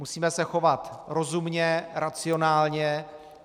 Musíme se chovat rozumně, racionálně.